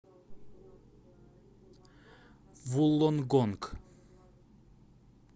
вуллонгонг